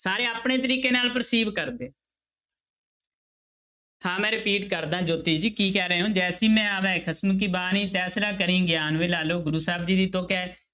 ਸਾਰੇ ਆਪਣੇ ਤਰੀਕੇ ਨਾਲ ਕਰਦੇ ਹਾਂ ਮੈਂ repeat ਕਰਦਾਂ ਜੋਤੀ ਜੀ ਕੀ ਕਹਿ ਰਹੇ ਹੋ ਜੈਸੀ ਮੈ ਆਵੈ ਖਸਮ ਕੀ ਬਾਣੀ ਤੈਸੜਾ ਕਰੀ ਗਿਆਨੁ ਵੇ ਲਾਲੋ ਗੁਰੂ ਸਾਹਿਬ ਜੀ ਦੀ ਤੁੱਕ ਹੈ।